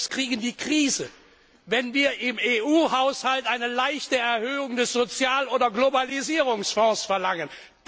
kriegen die Krise, wenn wir im EU Haushalt eine leichte Erhöhung des Sozial oder Globalisierungsfonds verlangen.